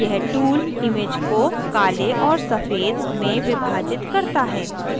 यह tool image को काले और सफ़ेद में विभाजित करता है